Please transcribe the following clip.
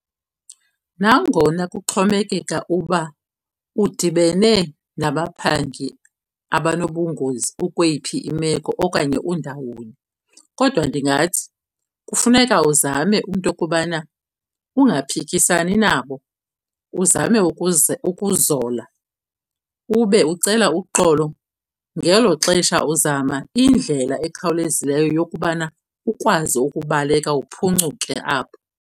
Nangona kuxhomekeka uba udibene nabaphangi abanobungozi ukweyiphi imeko okanye undawoni, kodwa ndingathi kufuneka uzame into yokubana ungaphikisani nabo, uzame ukuzola ube ucela uxolo. Ngelo xesha uzama indlela ekhawulezileyo yokubana ukwazi ukubaleka uphuncuke apho.